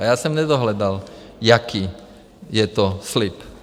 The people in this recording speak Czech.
A já jsem nedohledal, jaký je to slib.